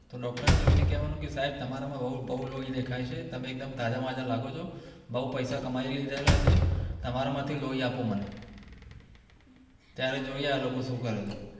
doctor ને જોઈને કહેવાનું કે સાહેબ તમારામાં બોવ લોહી દેખાય છે તમે એકદમ તાજામાજા લાગો છો બોવ પૈસા કમાવી લીધેલા છે તમારા માંથી લોહી આપો મને ત્યારે જોઈએ આ લોકો શું કરે છે